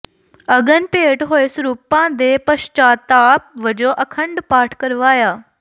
ਅਗਨ ਭੇਟ ਹੋਏ ਸਰੂਪਾਂ ਦੇ ਪਸ਼ਚਾਤਾਪ ਵਜੋਂ ਅਖੰਡ ਪਾਠ ਕਰਵਾਇਆ